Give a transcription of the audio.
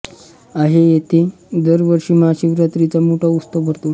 आहे येथे दर वर्षी महाशिवरात्रीचा मोठा उत्सव भरतो